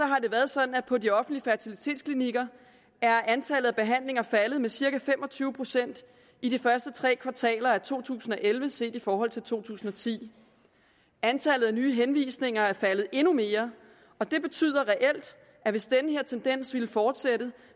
har det været sådan at på de offentlige fertilitetsklinikker er antallet af behandlinger faldet med cirka fem og tyve procent i de første tre kvartaler af to tusind og elleve set i forhold til to tusind og ti antallet af nye henvisninger er faldet endnu mere og det betyder reelt at hvis den her tendens ville fortsætte